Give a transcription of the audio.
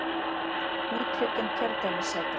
Úthlutun kjördæmissæta